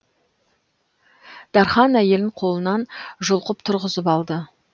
дархан әйелін қолынан жұлқып тұрғызып алды